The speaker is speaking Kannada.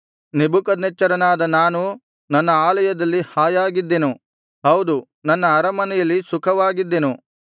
ನೆಬೂಕದ್ನೆಚ್ಚರನಾದ ನಾನು ನನ್ನ ಆಲಯದಲ್ಲಿ ಹಾಯಾಗಿದ್ದೆನು ಹೌದು ನನ್ನ ಅರಮನೆಯಲ್ಲಿ ಸುಖವಾಗಿದ್ದೆನು